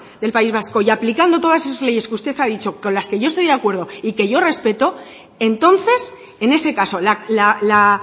del país vasco y aplicando todas esas leyes que usted ha dicho con las que yo estoy de acuerdo y que yo respeto entonces en ese caso la